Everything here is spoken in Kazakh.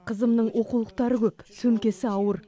қызымның оқулықтары көп сөмкесі ауыр